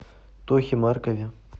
тохе маркове